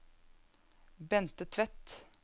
Bente Tvedt